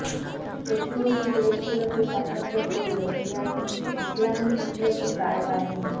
প্রতিবেশী দেশগুলোকে সতর্ক করল ইরানের ইসলামি বিপ্লবী গার্ড বাহিনী